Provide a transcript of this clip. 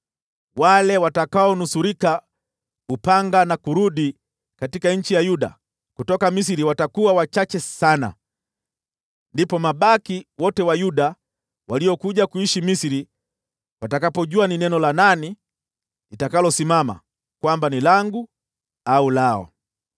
Wale watakaonusurika upanga na kurudi katika nchi ya Yuda kutoka Misri watakuwa wachache sana. Ndipo mabaki wote wa Yuda waliokuja kuishi Misri watakapojua ni neno la nani litakalosimama, kwamba ni langu au lao.